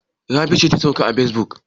Rabi ce ta sauka a facebook?